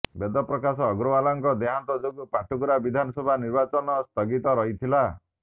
ବେଦ ପ୍ରକାଶ ଅଗ୍ରଓ୍ବାଲଙ୍କ ଦେହାନ୍ତ ଯୋଗୁଁ ପାଟକୁରା ବିଧାନସଭା ନିର୍ବାଚନ ସ୍ଥଗିତ ରହିଥିଲା